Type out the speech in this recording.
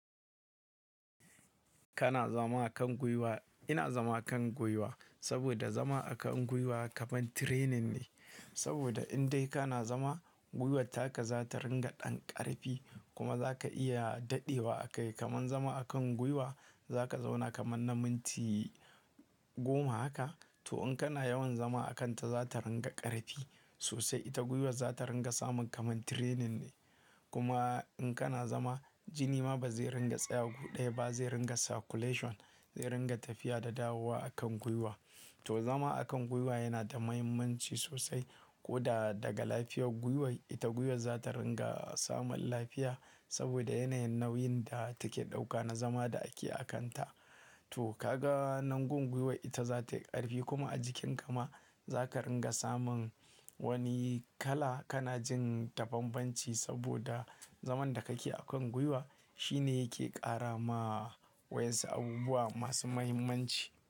Kana zama a kan gwiwa, ina zama a kan gwiwa saboda zama a kan gwiwa kamar training ne. Saboda in dai kana zama, gwiwar taka za ta ringa ɗan ƙarfi kuma za ka iya daɗewa a kai. Kaman zama a kan gwiwa, za ka zauna kaman na minti goma haka. To in kana yawan zama a kanta za ta ringa ƙarfi sosai. Ita gwiwar za ta ringa samun kamar training ne. Kuma in kana zama jini ma ba zai ringa tsaya gu ɗaya ba, zai ringa circulation, zai ringa tafiya da dawowa a kan gwiwa. To zama a kan gwiwa yana da mahimmanci sosai. Ko da daga lafiyar gwiwar, ita gwiwar za ta ringa samun lafiya saboda yanayin nauyin da take ɗauka na zama da ake a kanta. To ka ga nan gon gwiwar ita za ta yi ƙarfi kuma a jikinka ma za ka ringa samun wani kala. Kana jin da banbanci saboda zaman da kake a kan gwiwa shine yake ƙara ma wayansu abubuwa masu mahimmanci.